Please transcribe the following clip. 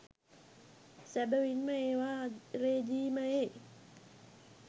සැබවින්ම ඒවා රෙජීමයේ